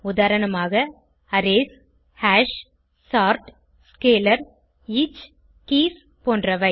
உதாரணமாக arrays hash sort scalar each keys போன்றவை